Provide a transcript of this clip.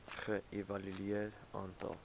ge evalueer aantal